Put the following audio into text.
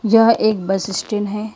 यह एक bus stand है।